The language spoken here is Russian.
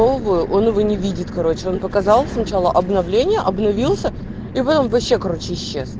новую он его не видит короче он показал сначала обновление обновился и в этом вообще короче исчез